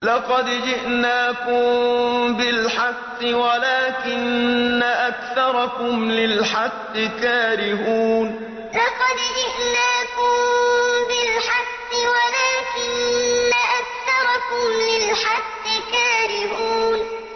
لَقَدْ جِئْنَاكُم بِالْحَقِّ وَلَٰكِنَّ أَكْثَرَكُمْ لِلْحَقِّ كَارِهُونَ لَقَدْ جِئْنَاكُم بِالْحَقِّ وَلَٰكِنَّ أَكْثَرَكُمْ لِلْحَقِّ كَارِهُونَ